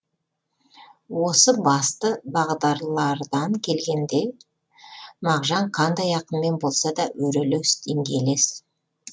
осы басты бағдарлардан келгенде мағжан қандай ақынмен болса да өрелес деңгейлес